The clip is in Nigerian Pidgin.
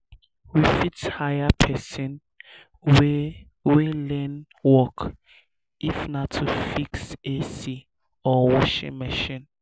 we fit hire um person um wey um wey learn work if na to fix um ac or washing machine